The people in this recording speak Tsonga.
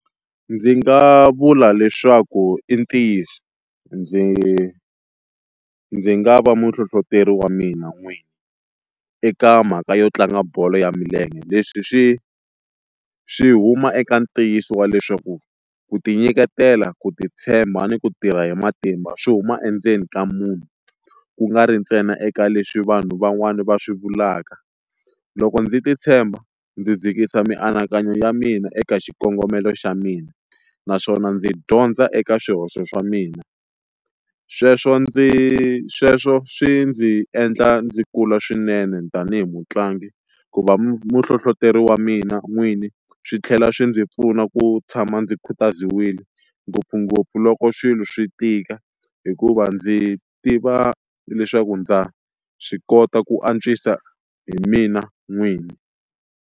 Ndzi nga vula leswaku i ntiyiso ndzi ndzi nga va muhlohloteri wa mina n'wini eka mhaka yo tlanga bolo ya milenge, leswi swi swi huma eka ntiyiso wa leswaku ku tinyiketela ku titshemba ni ku tirha hi matimba swi huma endzeni ka munhu, ku nga ri ntsena eka leswi vanhu van'wani va swi vulaka loko ndzi titshemba ndzi dzikisa mianakanyo ya mina eka xikongomelo xa mina naswona ndzi dyondza eka swihoxo swa mina sweswo ndzi sweswo swi ndzi endla ndzi kula swinene tanihi mutlangi ku va muhlohloteri wa mina n'wini swi tlhela swi ndzi pfuna ku tshama ndzi khutaziwile ngopfungopfu loko swilo swi tika hikuva ndzi tiva leswaku ndza swi kota ku antswisa hi mina n'wini.